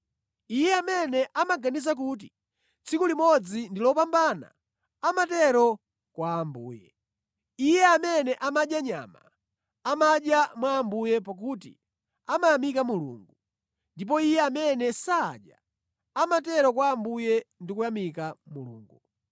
Iye amene amaganiza kuti tsiku limodzi ndi lopambana, amatero kwa Ambuye. Iye amene amadya nyama, amadya mwa Ambuye pakuti amayamika Mulungu. Ndipo iye amene sadya, amatero kwa Ambuye ndi kuyamika Mulungu.